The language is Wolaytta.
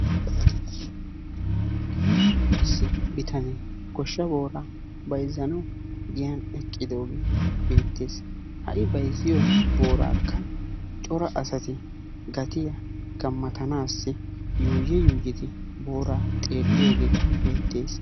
Issi bitane goshsha booraa bayzzanawu giyan eqqidoge beetees. Ha i bayzziyoraka cora asati shammanaassi gaatiya gammatanassi yuyi yuyi booraa xeeliyoge beetees.